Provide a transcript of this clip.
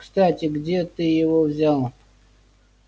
кстати где ты его взял